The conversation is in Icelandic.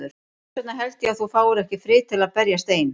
Þess vegna held ég að þú fáir ekki frið til að berjast ein.